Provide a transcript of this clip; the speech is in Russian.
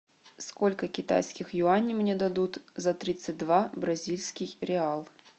сколько китайских юаней мне дадут за тридцать два бразильских реал